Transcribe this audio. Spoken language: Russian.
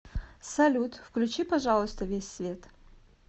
салют включи пожалуйста весь свет